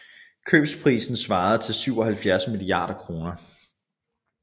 Købsprisen svarede til 77 milliarder kroner